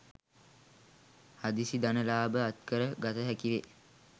හදිසි ධන ලාභ අත්කර ගත හැකි වේ.